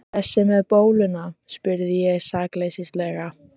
Þessi með bóluna? spurði ég sakleysislega.